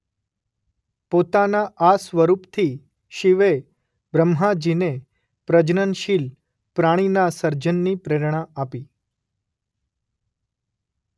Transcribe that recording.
પોતાના આ સ્વરૂપથી શિવે બ્રહ્માજીને પ્રજનનશીલ પ્રાણીના સર્જનની પ્રેરણા આપી.